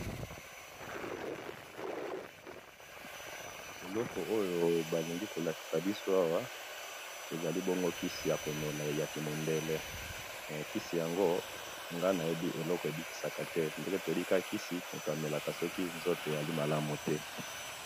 eloko oyo balingi bongo kolakisa biso awa ezali yango kisi yakomelaya ya kimundele kisi yango nga nayebite eloko nini ebekisaka eloko nayebi mutu amelaka kisi soki azoyoka nzoto ezali malamu te.